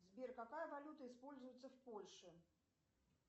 сбер какая валюта используется в польше